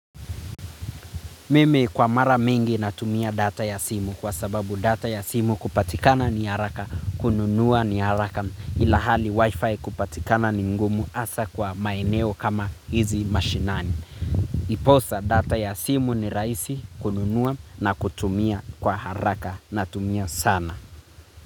Memi kwa mara mingi na tumia data ya simu kwa sababu data ya simu kupatikana ni haraka kununuwa ni haraka ilhali wifi kupatikana ni ngumu hasa kwa maeneo kama hizi mashinani. Ndiposa data ya simu ni rahisi kununua na kutumia kwa haraka na tumia sana.